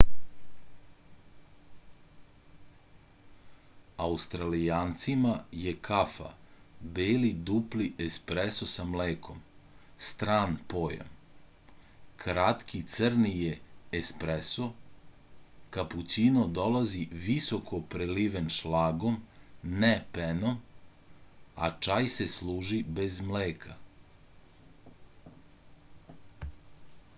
аустралијанцима је кафа бели дупли еспресо са млеком стран појам. кратки црни је еспресо капућино долази високо преливен шлагом не пеном а чај се служи без млека